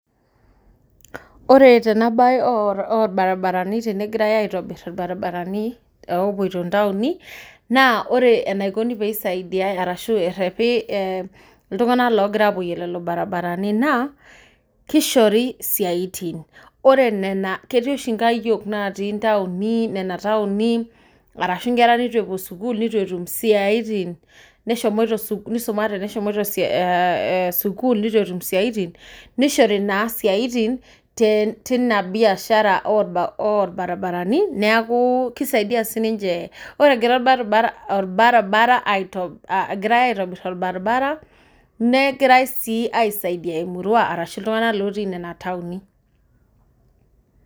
Ore tenabae orbaribarani tenegirai aitobir irbaribarani opoito ntaoni, naa ore enaikoni peisaidiai arashu errepi iltung'anak logira apoyie lelo barabarani naa, kishori siaitin. Ore nena ketii oshi nkayiok natii ntaoni nena taoni, arashu nkera nitu epuo sukuul nitu etum isiaitin, nisumate neshomoita sukuul nitu etum isiaitin nishori naa siaitin tina biashara orbaribarani, neeku kisaidia sininche ore egira orbaribara egirai aitobir orbaribara, negirai si aisaidia emurua arashu iltung'anak lotii nena taoni.